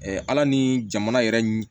ala ni jamana yɛrɛ